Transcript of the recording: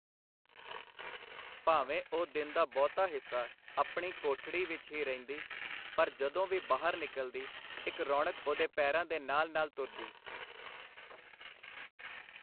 ਭਾਵੇਂ ਉਹ ਦਿਨ ਦਾ ਬਹੁਤਾ ਹਿੱਸਾ ਆਪਣੀ ਕੋਠੜੀ ਵਿਚ ਹੀ ਰਹਿੰਦੀ, ਪਰ ਜਦੋਂ ਵੀ ਬਾਹਰ ਨਿਕਲਦੀ, ਇਕ ਰੌਣਕ ਉਹਦੇ ਪੈਰਾਂ ਦੇ ਨਾਲ ਨਾਲ ਤੁਰਦੀ.